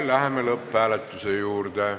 Läheme lõpphääletuse juurde.